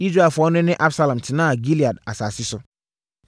Israelfoɔ no ne Absalom tenaa Gilead asase so.